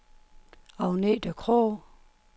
Agnete Krogh